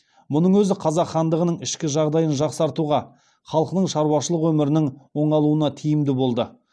мұның өзі қазақ хандығының ішкі жағдайын жақсартуға халқының шаруашылық өмірінің оңалуына тиімді болды